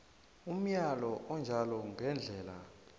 umyalo onjalo ngendlela